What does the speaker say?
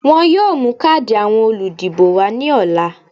Wọ́n yóò mú káàdì àwọn olùdìbò wá ní ọ̀la